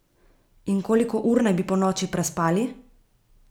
In koliko ur naj bi ponoči prespali?